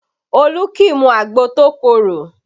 Olu kì í mu agbo tó korò